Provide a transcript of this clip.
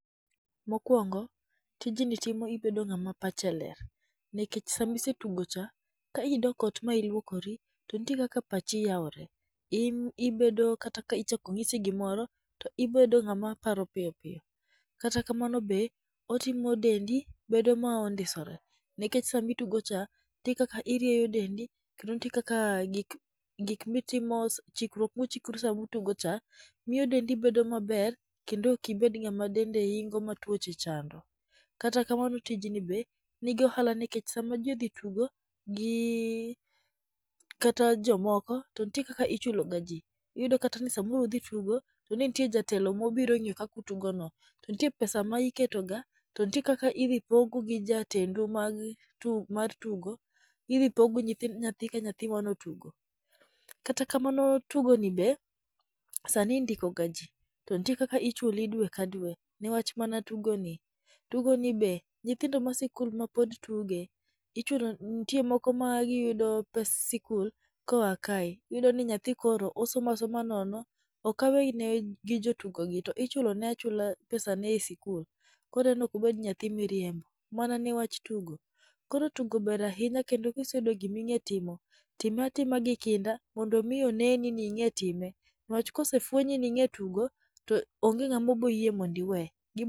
Mokuongo, tijni timo ibedo ng'ama pache ler, nikech sama isetugo cha, ka idok ot ma iluokori, to nitie kaka pachi yaore. In ibedo kata ka ichako nyisi gimoro to ibedo ng'ama parp piyo piyo. Kata kamano be otimo dendi bedo ma ondisore, nikech sama itugocha, nitie kaka irieyo dendi, kendo nitie kaka gik gik mitimo chikruok michikri sama utogo cha, miyo dendi bedo maber, kendo ok ibed ng'ama dende ingo ma tuoche chando. Kata kamano tijni be nigi ohala nikech sama ji odhi tugo, gi kata jomoko to ntie kaka ichuloga ji. Iyudo kata ni samoro udhi tugo, to ntie jatelo mobiro ng'yo kaka utogono. To ntie pesa ma iketo ga, to ntie kaka idhi pogu gi jatendu mag mar tugo, idhi pogu nyathi ka nyathi manotugo. Kata kamano tugoni be, sani indikega ji to ntie kaka ichuli dwe ka dwe newach mana tugoni. Tugoni be nyithindo ma sikul ma pod tuge ichulo n nitie moko ma giyudo pes sikul koa kae. Iyudo ni nyathi koro osomo asoma nono okawe ne gi jotugogi to ichulone achula pesane e sikul koro en ok obed nyathi miriembo mana ne wach tugo. Koro tugo ber ahinya kendo kiseyudo gima ing'e timo, time atima gi kinda mondo mi oneni ni ing'e time. Newach kosefwenyi ni ing'e tugo, to onge ng'ama boyie mondo iwe.